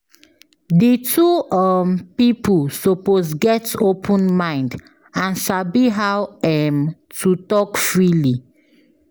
Di two um pipo suppose get open mind and sabi how um to talk freely